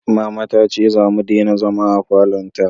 Mama ta ce za mu dena zama a falon ta